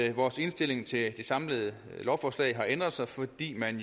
at vores indstilling til det samlede lovforslag har ændret sig fordi man